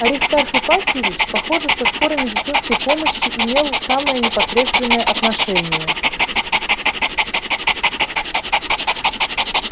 аристарх ипатьевич похоже к скорой медицинской помощи имел самое непосредственное отношение